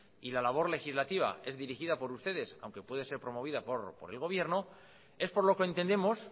y la labor legislativa es dirigida por ustedes aunque puede ser promovida por el gobierno es por lo que entendemos